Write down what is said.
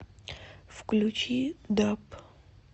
включи даб